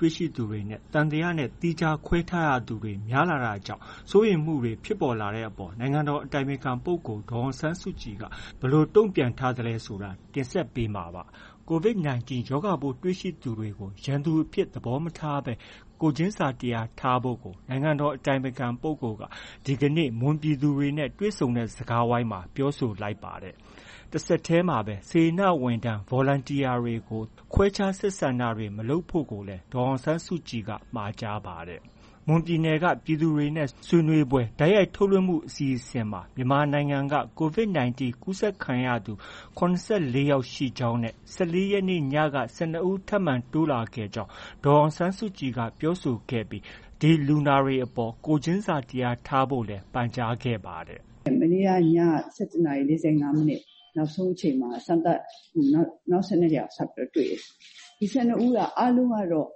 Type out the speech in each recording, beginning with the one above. တွေ့ရှိသူတွေနဲ့ သံသယနဲ့ သီးခြားခွဲထားရသူတွေ များလာတာကြောင့် စိုးရိမ်မှုတွေဖြစ်လာကြတဲ့အပေါ် နိုင်ငံတော်အတိုင်ပင်ခံပုဂ္ဂိုလ်က ဘယ်လိုတုံ့ပြန်ထားလဲဆိုတာ ဗွီအိုအေ မြန်မာပိုင်းသတင်းထောက် ကိုမိုးဇော်က တင်ဆက်ပေးမှာပါ။ COVID-19 ရောဂါပိုးတွေ့ရှိထားသူတွေကို ရန်သူအဖြစ်သဘောမထားဘဲ ကိုယ်ချင်းစာတရားထားကြဖို့ကို နိုင်ငံတော်အတိုင်ပင်ခံပုဂ္ဂိုလ် ဒေါ်အောင်ဆန်းစုကြည်က ဒီကနေ့ မွန်ပြည်သူတွေနဲ့ တွေ့ဆုံတဲ့ စကားဝိုင်းမှာ ပြောဆိုလိုက်ပါတယ်။ တဆက်တည်းမှာပဲ စေတနာဝန်ထမ်း Volunteer တွေကို ခွဲခြားဆက်ဆံတာတွေ မလုပ်ဖို့ကိုလည်း ဒေါ်အောင်ဆန်းစုကြည်က မှာကြားပါတယ်။ မွန်ပြည်နယ်က ပြည်သူတွေ ဆွေးနွေးပွဲ တိုက်ရိုက်ထုတ်လွှင့်မှု အစီအစဉ်မှာ မြန်မာနိုင်ငံမှာ COVID-19 ကူးစက်ခံရသူ ၇၄ ယောက်ရှိကြောင်းနဲ့ ၁၄ ရက်နေ့က ၁၂ ဦးထပ်မံတိုးလာခဲ့ကြောင်း ဒေါ်အောင်ဆန်းစုကြည်က ပြောဆိုခဲ့ပြီး ဒီလူနာတွေအပေါ် ကိုယ်ချင်းစာတရားထားကြဖို့လည်း ပန့်ကြားခဲ့ပါတယ်။ “မနေ့က ည ၁၁ နာရီ ၄၅ မိနစ် နောက်ဆုံးအချိန်မှာ စမ်းသပ်မှုက နောက် ၁၂ ယောက် ထပ်ပြီးတော့ တွေ့တယ်။ ဒီ ၁၂ ဦးက အားလုံးကတော့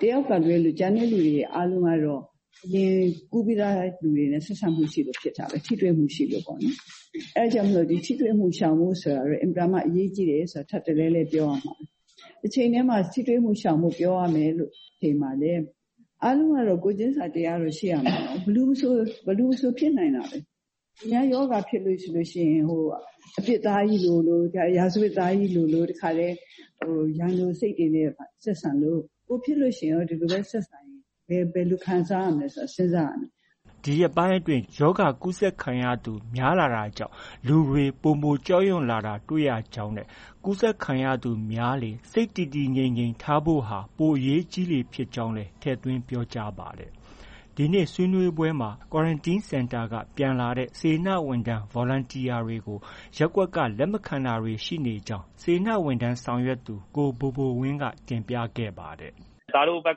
တစ်ယောက်က လွဲလို့ ကျန်တဲ့သူတွေ အားလုံးကတော့ ကူးပြီးသားလူတွေနဲ့ ဆက်စပ်မှုရှိလို့ ဖြစ်တာပဲ။ ထိတွေ့မှု ရှိလို့ပေါ့လေ။ အဲဒါကြောင့်မို့ ဒီထိတွေ့မှုရှောင်ဖို့ ဆိုတာ အင်မတန်မှ အရေးကြီးတယ်ဆိုတာ ထပ်တလဲလဲ ပြောရမှာပဲ။ တစ်ချိန်တည်းမှာ ထိတွေ့မှုရှောင်လို့ ပြောရမယ့် အချိန်မှာ ပဲ အားလုံးကတော့ ကိုယ်ချင်းစာတရားတော့ ရှိရမှာပဲ။ ဘယ်သူမဆို ဖြစ်နိုင်တာပဲ။ သူများ ရောဂါဖြစ်လို့ ရှိရင် အပြစ်သားကြီးလိုလို ရာဇဝတ်သားကြီးလိုလို တစ်ခါတည်း ရန်လိုစိတ်တွေနဲ့ ဆက်ဆံလို့ ကိုယ်ဖြစ်လို့ ရှိရင်လည်း ဒီလိုပဲ ဆက်ဆံရင် ဘယ်လို ခံစားရမလဲဆိုတာ စဉ်းစားရမယ်။” ဒီရက်ပိုင်းတွေအတွင်း ရောဂါကူးစက်ခံရသူ များလာတာကြောင့် လူတွေပိုမို ကြောက်ရွံတာတွေ့ရကြောင်းနဲ့ ကူးစက်ခံရသူများလေ စိတ်တည်တည်ငြိမ်ငြိမ်ထားဖို့ဟာ ပိုအရေးကြီလေ ဖြစ်ကြောင်းလည်း ထည့်သွင်းပြောကြားပါတယ်။ ဒီနေ့ ဆွေးနွေးပွဲမှာ Quarantine Center က ပြန်လာတဲ့ စေတနာဝန်ထမ်း Volunteer တွေကို ရပ်ကွက်က လက်မခံတာတွေ ရှိနေကြောင်း စေတနာဝန်ထမ်းဆောင်ရွက်သူ ကိုဘိုဘိုဝင်းက တင်ပြခဲ့ပါတယ်။ “သားတို့ဘက်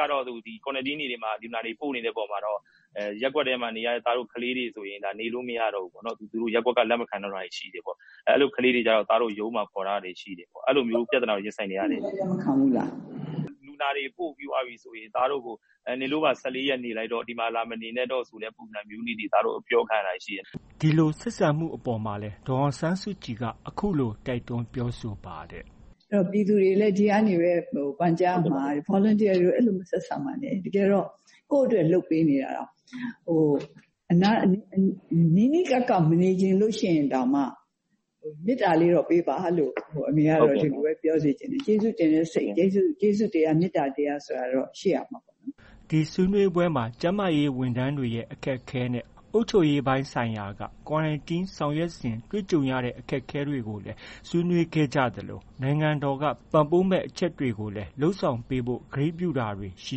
ကတော့ ဒီ Quarantine တွေမှာ လူနာတွေ ပို့နေတဲ့အပေါ်မှာတော့ ရပ်ကွက်ထဲမှာ နေရတဲ့ ကျနော်တို့ ကလေးတွေဆို နေလို့ မရတော့ဘူး။ ရပ်ကွက်က လက်မခံတော့တာတွေ ရှိတယ်ပေါ့။ အဲလို ကလေးတွေကျတော့ ရုံးမှာ ခေါ်ထားရတာတွေ ရှိတယ်။ အဲလိုမျိုးပြဿနာတွေ ရင်ဆိုင်နေရတာရှိတယ်။ လူနာတွေ ပို့ပြီးသွားပြီဆိုရင် သားတို့ကို နင်တို့ပါ ၁၄ ရက်နေလိုက်တော့ ဒီမှာ လာမနေနဲ့တော့ဆိုတဲ့ ပုံစံမျိုးတွေ အပြောခံရတာတွေ ရှိတယ်။” ဒီလို ဆက်ဆံမှုအပေါ်မှာလည်း ဒေါ်အောင်ဆန်းစုကြည်က အခုလို တိုက်တွန်းပြောဆိုပါတယ်။ “ပြည်သူတွေလည်း ဒီကနေပဲ ပန်ကြားရမှာကတော့ Volunteer တွေကို အဲလို မဆက်ဆံပါနဲ့၊ တကယ်တော့ ကိုယ့်အတွက် လုပ်ပေးနေရတာ။ နီးနီးကပ်ကပ် မနေချင်လို့ရင်တောင်မှ မေတ္တာလေးတော့ ပေးပါလို့ အမေကတော့ ဒီလိုပဲ ပြောစေချင်တယ်။ ကျေးဇူးတင်တဲ့စိတ်၊ ကျေးဇူးတရား မေတ္တာတရားတော့ ရှိရမှာပေါ့။” ဒီဆွေးနွေးပွဲမှာ ကျန်းမာရေးဝန်ထမ်းတွေရဲ့ အခက်အခဲနဲ့ အုပ်ချုပ်ရေးပိုင်းဆိုင်ရာက Quarantine ဆောင်ရွက်စဉ်တွေ့ကြုံရတဲ့အခက်အခဲတွေကိုလည်း ဆွေးနွေးခဲ့ကြသလို နိုင်ငံတော်က ပံ့ပိုးမယ့် အချက်တွေကိုလည်း လုပ်ဆောင်ပေးဖို့ ကတိပြုခဲ့တာတွေ ရှိ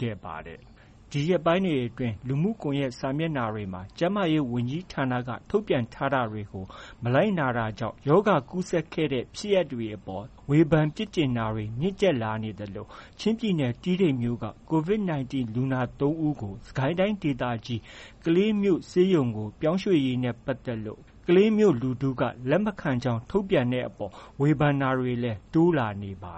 ခဲ့ပါတယ်။ ဒီရက်ပိုင်းတွေအတွင်း လူမှုကွန်ရက်စာမျက်နှာတွေမှာ ကျန်းမာရေးဝန်ကြီးဌာနက ထုတ်ပြန်ထားတာတွေကို မလိုက်နာကြောင့် ရောဂါကူးစက်ခဲ့တဲ့ ဖြစ်ရပ်တွေအပေါ်မှာဝေဖန်ပြစ်တင်တာတွေ မြင့်တက်လာနေသလို ချင်းပြည်နယ် တီးတိန်မြို့က COVID-19 လူနာ ၃ ဦးကို စစ်ကိုင်းတိုင်းဒေသကြီး ကလေးမြို့ဆေးရုံပြောင်းရွှေ့ရေးနဲ့ ပတ်သက်လို့ ကလေးမြို့လူထုက လက်မခံကြောင်း ထုတ်ပြန်တဲ့အပေါ် ဝေဖန်တာတွေလည်း တိုးလာနေပါ